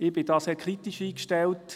Ich bin da sehr kritisch eingestellt.